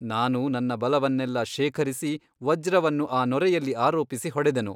ನಾನು ನನ್ನ ಬಲವನ್ನೆಲ್ಲಾ ಶೇಖರಿಸಿ ವಜ್ರವನ್ನು ಆ ನೊರೆಯಲ್ಲಿ ಆರೋಪಿಸಿ ಹೊಡೆದೆನು.